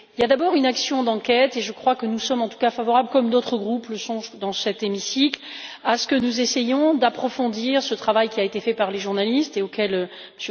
Il y a d'abord une action d'enquête, et je crois que nous sommes en tout cas favorables, comme d'autres groupes dans cet hémicycle, au fait d'essayer d'approfondir le travail qui a été fait par les journalistes et auquel M.